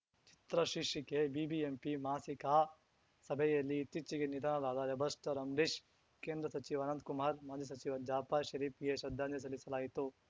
ಚಿತ್ರ ಶೀರ್ಷಿಕೆ ಬಿಬಿಎಂಪಿ ಮಾಸಿಕ ಸಭೆಯಲ್ಲಿ ಇತ್ತೀಚೆಗೆ ನಿಧನರಾದ ರೆಬಲ್‌ಸ್ಟಾರ್‌ ಅಂಬ್ರೀಷ್‌ ಕೇಂದ್ರ ಸಚಿವ ಅನಂತ್‌ ಕುಮಾರ್‌ ಮಾಜಿ ಸಚಿವ ಜಾಫರ್‌ ಷರೀಫ್‌ಗೆ ಶ್ರದ್ಧಾಂಜಲಿ ಸಲ್ಲಿಸಲಾಯಿತು